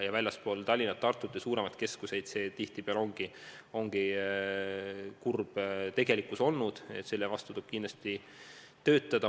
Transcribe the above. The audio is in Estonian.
Väljaspool Tallinna, Tartut ja teisi suuremaid keskuseid see tihtipeale ongi kurb tegelikkus olnud ja selle vastu tuleb kindlasti töötada.